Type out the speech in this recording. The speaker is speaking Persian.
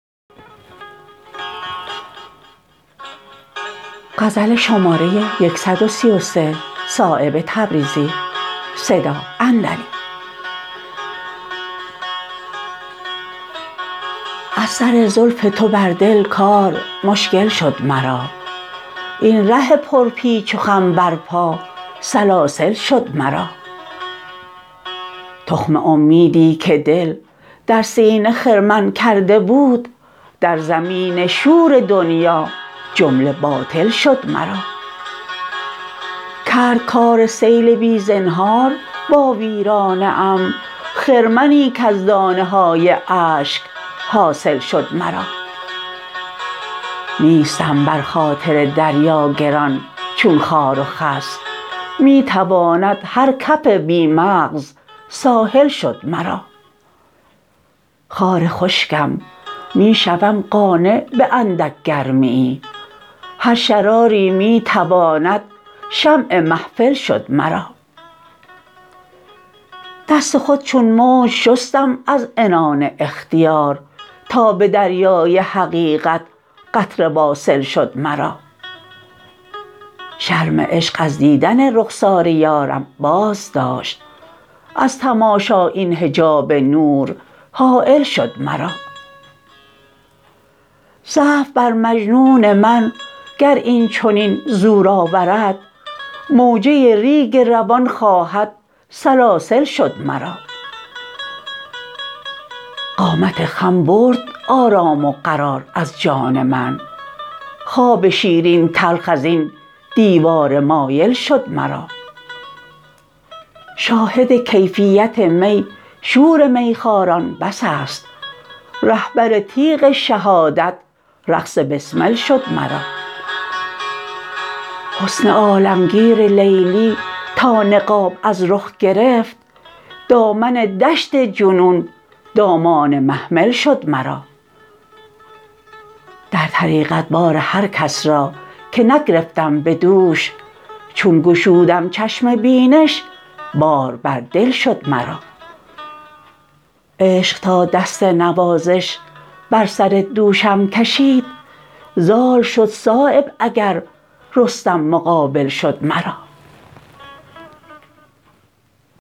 از سر زلف تو بر دل کار مشکل شد مرا این ره پر پیچ و خم بر پا سلاسل شد مرا تخم امیدی که دل در سینه خرمن کرده بود در زمین شور دنیا جمله باطل شد مرا کرد کار سیل بی زنهار با ویرانه ام خرمنی کز دانه های اشک حاصل شد مرا نیستم بر خاطر دریا گران چون خار و خس می تواند هر کف بی مغز ساحل شد مرا خار خشکم می شوم قانع به اندک گرمیی هر شراری می تواند شمع محفل شد مرا دست خود چون موج شستم از عنان اختیار تا به دریای حقیقت قطره واصل شد مرا شرم عشق از دیدن رخسار یارم بازداشت از تماشا این حجاب نور حایل شد مرا ضعف بر مجنون من گر این چنین زور آورد موجه ریگ روان خواهد سلاسل شد مرا قامت خم برد آرام و قرار از جان من خواب شیرین تلخ ازین دیوار مایل شد مرا شاهد کیفیت می شور میخواران بس است رهبر تیغ شهادت رقص بسمل شد مرا حسن عالمگیر لیلی تا نقاب از رخ گرفت دامن دشت جنون دامان محمل شد مرا در طریقت بار هر کس را که نگرفتم به دوش چون گشودم چشم بینش بار بر دل شد مرا عشق تا دست نوازش بر سر دوشم کشید زال شد صایب اگر رستم مقابل شد مرا